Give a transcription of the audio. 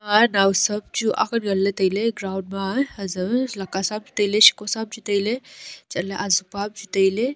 ema nawsam chu agle nganlay ground ma azae lekasa ham Chu tailay shikosa ham Chu tailay chatley ajupa ham Chu tailay.